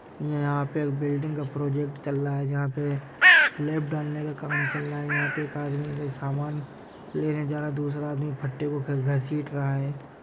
यहाँ पे एक बिल्डिंग का प्रोजेक्ट चल रहा है जहाँ पे स्लैब डालने का काम चल रहा है यहाँ पे एक आदमी सामान लेने जा रहा है दूसरा आदमी फट्टे को घसीट रहा है।